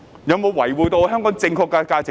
有否維護香港正確的價值觀？